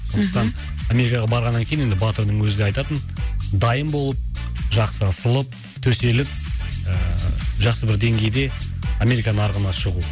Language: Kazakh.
мхм сондықтан америкаға барғаннан кейін енді батырдың өзі де айтатын дайын болып жақсы ысылып төселіп ыыы жақсы бір деңгейде америка нарығына шығу